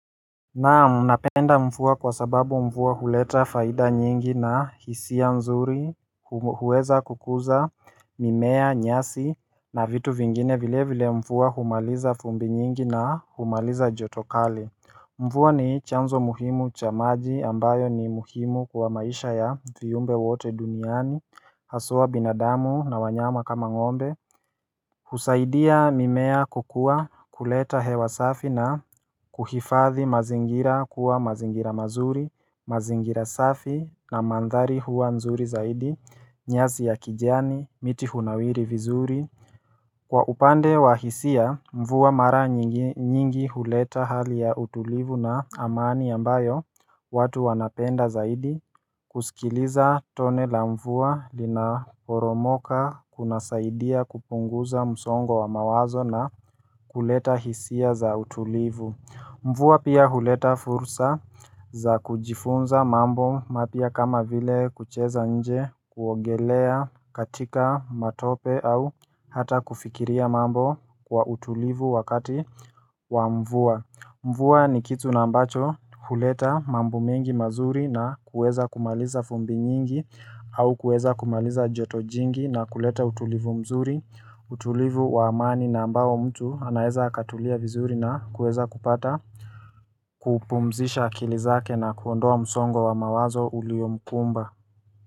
Naam napenda mva kwa sababu mvua huleta faida nyingi na hisia nzuri huweza kukuza mimea nyasi na vitu vingine vilevile mvua humaliza vumbi nyingi na humaliza joto kali mvua ni chanzo muhimu cha maji ambayo ni muimu kwa maisha ya viumbe wote duniani hasa binadamu na wanyama kama ngombe husaidia mimea kukua kuleta hewa safi na kuhifadhi mazingira kuwa mazingira mazuri, mazingira safi na mandhari huwa nzuri zaidi, nyasi ya kijani, miti hunawiri vizuri Kwa upande wa hisia, mvua mara nyingi huleta hali ya utulivu na amani ambayo watu wanapenda zaidi kusikiliza tone la mvua linaporomoka kunasaidia kupunguza msongo wa mawazo na kuleta hisia za utulivu mvua pia huleta fursa za kujifunza mambo mapya kama vile kucheza nje kuogelea katika matope au hata kufikiria mambo kwa utulivu wakati wa mvua mvua ni kitu ambacho huleta mambo mengi mazuri na kuweza kumaliza vumbi nyingi au kuweza kumaliza joto jingi na kuleta utulivu mzuri, utulivu wa amani na ambao mtu anaeza akatulia vizuri na kuweza kupata kupumzisha akili zake na kuondoa msongo wa mawazo uliomkumba.